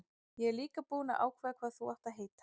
Ég er líka búinn að ákveða hvað þú átt að heita.